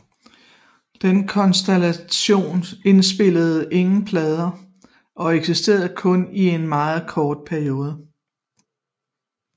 Den konstellation indspillede ingen plader og eksisterede kun i en meget kort periode